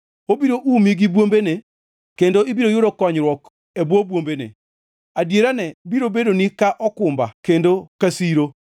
Obiro umi gi bwombene, kendo ibiro yudo konyruok e bwo bwombene; adierane biro bedoni ka okumba kendo ka siro.